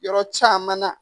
Yɔrɔ caman na